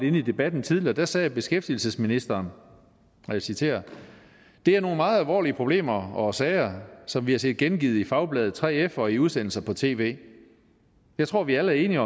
inde i debatten tidligere sagde beskæftigelsesministeren og jeg citerer det er nogle meget alvorlige problemer og sager som vi har set gengivet i fagbladet 3f og i udsendelser på tv jeg tror at vi alle er enige